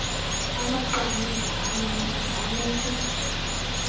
amaqamza amancinci anesi